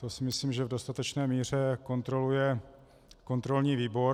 To si myslím, že v dostatečné míře kontroluje kontrolní výbor.